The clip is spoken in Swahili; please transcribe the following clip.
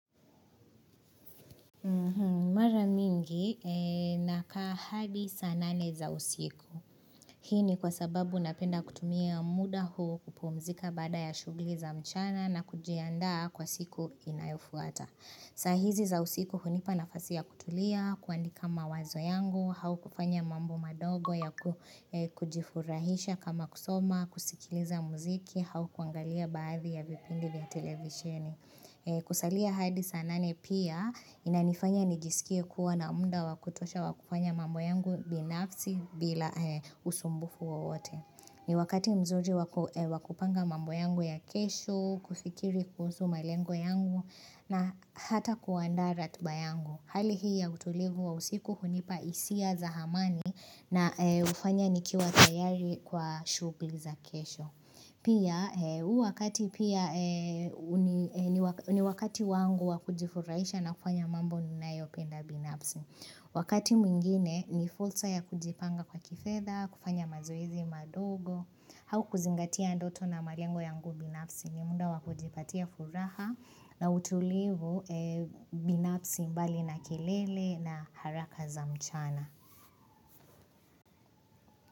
Mara mingi nakaa hadi saa nane za usiku. Hii ni kwa sababu napenda kutumia muda huo kupumzika baada ya shughuli za mchana na kujianda kwa siku inayofuata. Saa hizi za usiku hunipa nafasi ya kutulia, kuandika mawazo yangu, au kufanya mambo madogo ya kujifurahisha kama kusoma, kusikiliza muziki, au kuangalia baadhi ya vipindi vya televisheni. Kusalia hadi saa nane pia inanifanya nijisikie kuwa na muda wa kutosha wa kufanya mambo yangu binafsi bila usumbufu wowote ni wakati mzuri wakupanga mambo yangu ya kesho, kufikiri kuzhusu malengo yangu na hata kuandaa ratba yangu. Hali hii ya utulivu wa usiku hunipa hisia za amani na hufanya nikiwa tayari kwa shughuli za kesho Pia huu wakati pia ni wakati wangu wa kujifurahisha na kufanya mambo ninayopenda binafsi. Wakati mwingine ni fursa ya kujipanga kwa kifedha, kufanya mazoezi madogo, au kuzingatia ndoto na malengo yangu binafsi ni muda wa kujipatia furaha na utulivu binafsi mbali na kelele na haraka za mchana.